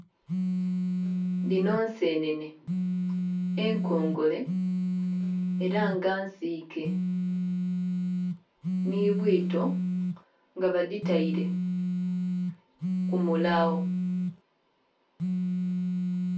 Dhino nsenene enkongole era nga nsike nhi bwito nga badhitaire ku mulawo.